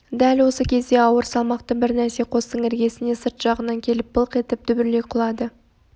дәл осы кезде ауыр салмақты бір нәрсе қостың іргесіне сырт жағынан келіп былқ етіп дүбірлей құлады